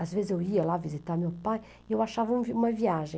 Às vezes eu ia lá visitar meu pai e eu achava uma viagem.